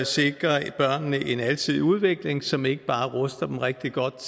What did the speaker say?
sikre børnene en alsidig udvikling som ikke bare ruster dem rigtig godt